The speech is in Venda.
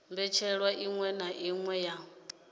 mbetshelwa iṅwe na iṅwe ya